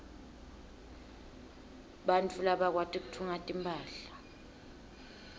bantfu labakwati kutfunga timphahla